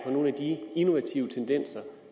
på nogle af de innovative tendenser